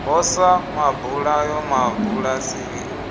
ho sa mabulayo mabulasini u